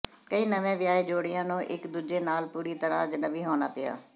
ਕਈ ਨਵੇਂ ਵਿਆਹੇ ਜੋੜਿਆਂ ਨੂੰ ਇਕ ਦੂਜੇ ਨਾਲ ਪੂਰੀ ਤਰ੍ਹਾਂ ਅਜਨਬੀ ਹੋਣਾ ਪਿਆ